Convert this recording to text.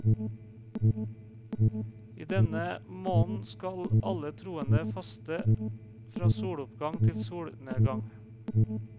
I denne måneden skal alle troende faste fra soloppgang til solnedgang.